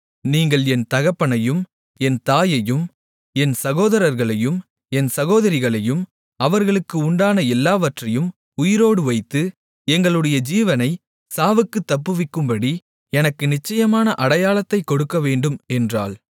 நீங்கள் என் தகப்பனையும் என் தாயையும் என் சகோதரர்களையும் என் சகோதரிகளையும் அவர்களுக்கு உண்டான எல்லாவற்றையும் உயிரோடு வைத்து எங்களுடைய ஜீவனை சாவுக்குத் தப்புவிக்கும்படி எனக்கு நிச்சயமான அடையாளத்தைக் கொடுக்கவேண்டும் என்றாள்